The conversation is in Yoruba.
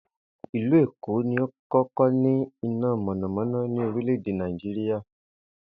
Ìlú Èkó ni ó kó̩kó̩ ní iná mò̩nàmó̩ná ní orilè̩ Nàìjíríà